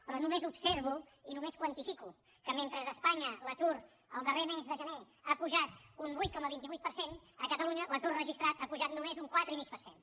però només observo i només quantifico que mentre a espanya l’atur el darrer mes de gener ha pujat un vuit coma vint vuit per cent a catalunya l’atur registrat ha pujat només un quatre i mig per cent